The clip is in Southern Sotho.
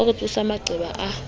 o re tsosetsa maqeba a